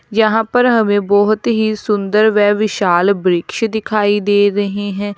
यहां पर हमे बहुत ही सुंदर व विशाल वृक्ष दिखाई दे रहे है।